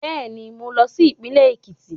Bẹ́ẹ̀ni, mú lọ sí Ìpínlẹ̀ Èkìtì